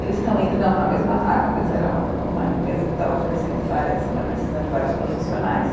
Eles estão indo não para a mesma vaga, mas era uma ca, uma empresa que estava oferecendo várias né, precisando de vários profissionais.